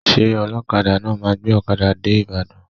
Ṣé ọlọkada náà máa gbé ọkada dé Ibadan?